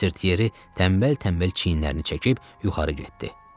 Mister Tiyeri tənbəl-tənbəl çiyinlərini çəkib yuxarı getdi.